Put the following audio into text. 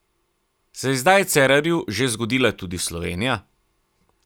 Se je zdaj Cerarju že zgodila tudi Slovenija?